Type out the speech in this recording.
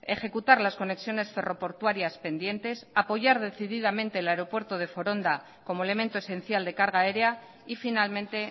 ejecutar las conexiones ferro portuarias pendientes apoyar decididamente el aeropuerto de foronda como elemento esencial de carga aérea y finalmente